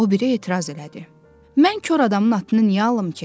O biri etiraz elədi: “Mən kor adamın atını niyə alım ki?